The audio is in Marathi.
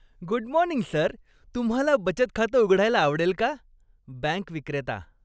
Good morning sir! तुम्हाला बचत खातं उघडायला आवडेल का? बँक विक्रेता